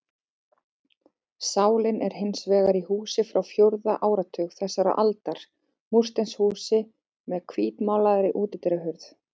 Sálin er hins vegar í húsi frá fjórða áratug þessarar aldar, múrsteinshúsi með hvítmálaðri útidyrahurð.